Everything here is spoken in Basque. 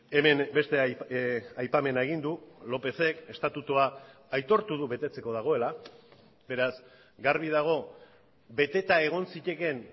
hemen beste aipamena egin du lópezek estatutua aitortu du betetzeko dagoela beraz garbi dago beteta egon zitekeen